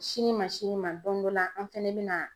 Sini ma sini ma don dɔ la an fana bɛ na